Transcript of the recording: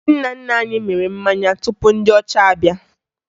Ndị nna nna anyị mịrị mmanya tupu ndị ọcha abịa